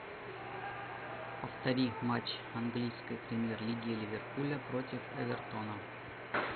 повтори матч английской премьер лиги ливерпуля против эвертона